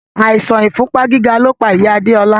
Àìsàn ìfúnpá gíga lo pa ìyá Adéọlá